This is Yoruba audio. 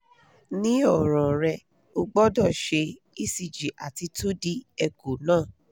ni oran re ogbodo se ecg ati two d echo na